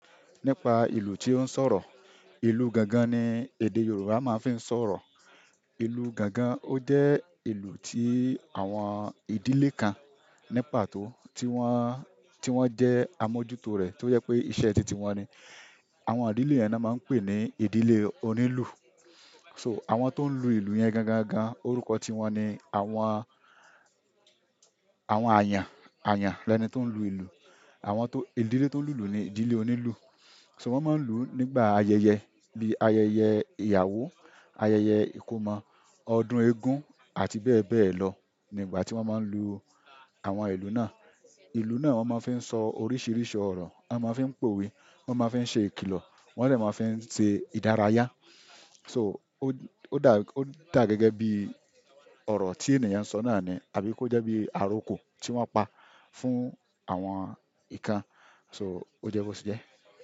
Nípa ìlù tí ó ń sọ̀rọ̀, ìlù gangan ni èdè Yorùbá máa ń fi sọ̀rọ̀. Ìlù gangan ó jẹ́ ìlù tí àwọn ìdílé kan nípa tó tí wọ́n, tí wọ́n jẹ́ àmójútó rẹ̀ tó jẹ́ pé iṣẹ́ titi wọn ni. Àwọn ìdílé yẹn ni a máa ń pè ní ìdílé onílù. So àwọn tó ń lù ìlù yẹn gangana orúkọ ti wọn ni àwọn, àwọn àyàn, àyàn lẹni tó ń lù ìlù. Àwọn tó, ìdílé tó ń lùlù ni ìdílé onílù. So wọ́n máa ń lù nígbà ayẹyẹ bíi ayẹyẹ ìyàwó, ayẹyẹ ìkómọ, ọdún eégún àti bẹ́ẹ̀ bẹ́ẹ̀ lọ. Nígbà tí wọ́n máa ń lu àwọn ìlù náà, ìlù náà wọ́n máa ń fi sọ oríṣiríṣi ọ̀rọ̀. Won mo fi n powe won mo fi n se ikilo won de ma fi n se ìdárayá. So ó dà, ó dà gẹ́gẹ́ bí ọ̀rọ̀ tí ènìyàn ń sọ náà ni. Tàbí kó jẹ́ bí àròko tí wọ́n pa fún àwọn nǹkan. So ó jẹ́ bó ti jẹ́.